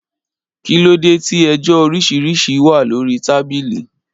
Kìlódè tí ẹjọ òrísìrísì wà lòrí tàbílì?